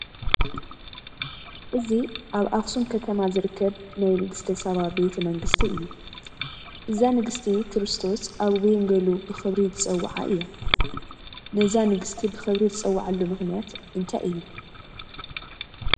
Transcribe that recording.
እዚ ኣብ ኣኽሱም ከተማ ዝርከብ ናይ ንግስተ ሳባ ቤተ መንግስቲ እዩ፡፡ እዛ ንግስቲ ክርስቶስ ኣብ ወንጌሉ ብኽብሪ ዝፀውዓ እያ፡፡ ነዛ ንግስቲ ብኽብሪ ዝፀወዐሉ ምኽንያት እንታይ እዩ?